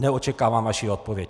Neočekávám vaši odpověď.